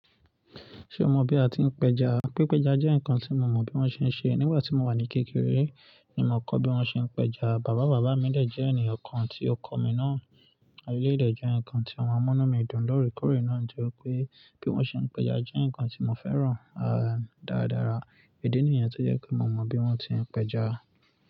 Ṣé o mọ bí a ti ń pẹja? Pípẹja jẹ́ nǹkan tí mo mọ bí wọ́n ṣe ń ṣe. Nígbà tí mo wà ní kékeré ni mo kọ́ bí wọ́n ṣe ń pẹja. Bàbá bàbá mi dè jẹ́ ènìyàn kan tí ó kọ́ mi náà. Elèyí dẹ̀ jẹ́ nǹkan tí o máa mú inú mi dùn lórí kórè náà. Ǹjẹ́ pé bí wọ́n ṣe ń pẹja jẹ́ nǹkan tí mo fẹ́ràn dáadára. Ìdí nìyẹn tó jẹ́ pé mo mọ bí wọ́n ti ń pẹja.